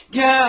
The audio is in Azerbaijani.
Gəl!